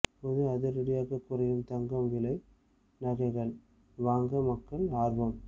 பொது அதிரடியாக குறையும் தங்கம் விலை நகைகள் வாங்க மக்கள் ஆர்வம்